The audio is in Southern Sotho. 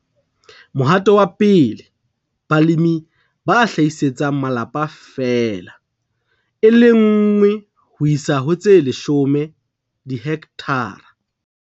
Mohato wa 1, balemi ba hlahisetsang malapa feela, 1 ho isa ho 10 dihekthara